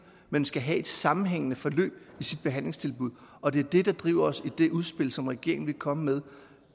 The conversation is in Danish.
men skal have et sammenhængende forløb i sit behandlingstilbud og det er det der driver os i det udspil som regeringen vil komme med